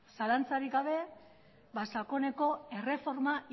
zalantzarik gabe ba sakoneko erreforma